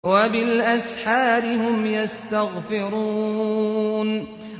وَبِالْأَسْحَارِ هُمْ يَسْتَغْفِرُونَ